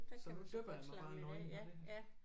Så nu dypper jeg mig bare nøgen og det